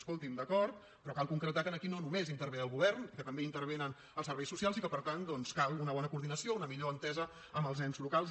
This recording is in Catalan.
escolti’m d’acord però cal concretar que aquí no només hi intervé el govern i que també hi intervenen els serveis socials i que per tant doncs cal una bona coordinació una millor entesa amb els ens locals